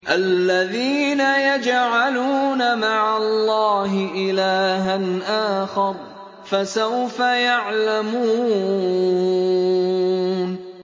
الَّذِينَ يَجْعَلُونَ مَعَ اللَّهِ إِلَٰهًا آخَرَ ۚ فَسَوْفَ يَعْلَمُونَ